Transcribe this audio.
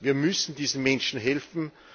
Wir müssen diesen Menschen helfen.